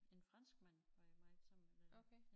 En franskmand var jeg meget sammen med